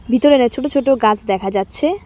ভিতরেরায় ছোট ছোট গাছ দেখা যাচ্ছে।